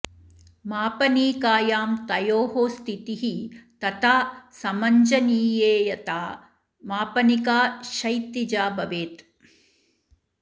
मापनीकायां तयोः स्थितिः तथा समञ्जनीयेयथा मापनिका क्षैतिजा भवेत्